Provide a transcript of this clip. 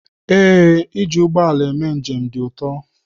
Ee, iji ụgbọ ala eme njem dị ụtọ.